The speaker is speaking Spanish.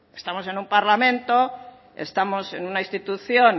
estamos en un parlamento estamos en una institución